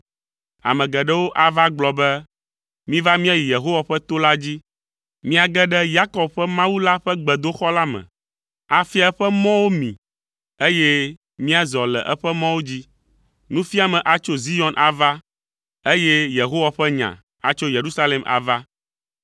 Ame geɖewo ava agblɔ be, “Miva míayi Yehowa ƒe to la dzi, míage ɖe Yakob ƒe Mawu la ƒe gbedoxɔ la me; afia eƒe mɔwo mí be míazɔ le eƒe mɔwo dzi.” Nufiame atso Zion ava, eye Yehowa ƒe nya atso Yerusalem ava.